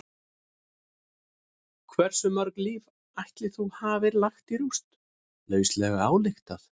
Hversu mörg líf ætli þú hafir lagt í rúst, lauslega ályktað?